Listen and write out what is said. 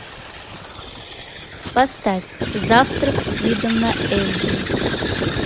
поставь завтрак с видом на эльбрус